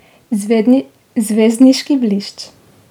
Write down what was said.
Zvezdniški blišč.